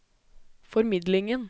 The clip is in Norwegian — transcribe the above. formidlingen